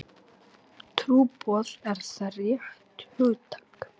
Trúboð, er það rétt hugtak?